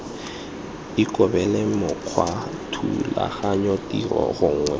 ikobele mokgwa thulaganyo tiro gongwe